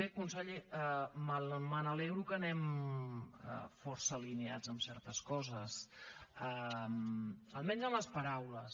bé conseller m’alegro que anem força alineats en certes coses almenys en les paraules